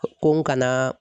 Ko n kana